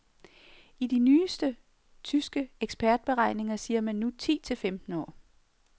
I de nyeste tyske ekspertberegninger siger man nu ti til femten år.